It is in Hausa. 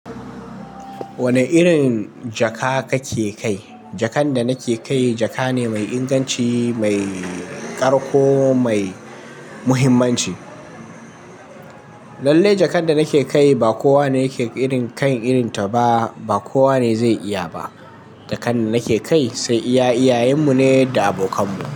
Wane irin jaka kake kai? Jakan da nake kai jaka ne mai inganci, mai ƙarƙo mai muhimmanci. Lallai jakan da nake kai ba kowa ne yake irin kai irin ta ba, ba kowa ne zai iya ba. Jakan da nake kai sai iya iyayenmu ne da abokanmu.